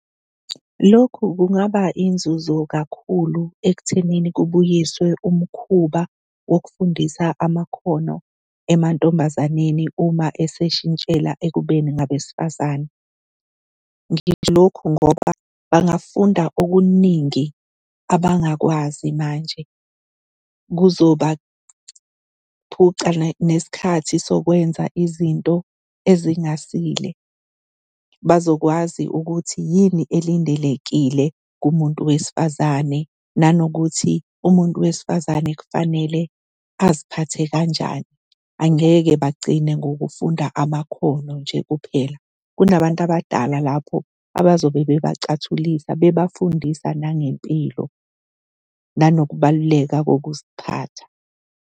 Lokhu kungaba inzuzo kakhulu ekuthenini kubuyiswe umkhuba wokufundisa amakhono emantombazaneni uma eseshintshela ekubeni ngabesifazane. Ngisho lokhu ngoba bangafunda okuningi abangakwazi manje kuzobaphuca nesikhathi sokwenza izinto ezingasile. Bazokwazi ukuthi yini elindelekile kumuntu wesifazane nanokuthi umuntu wesifazane kufanele aziphathe kanjani, angeke bagcine ngokufunda amakhono nje kuphela. Kunabantu abadala lapho abazobe bebacathulisa bebafundisa nangempilo nanokubaluleka kokuziphatha.